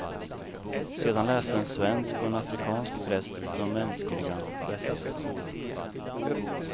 Sedan läste en svensk och en afrikansk präst de mänskliga rättigheterna.